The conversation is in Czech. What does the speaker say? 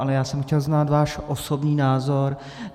Ale já jsem chtěl znát váš osobní názor.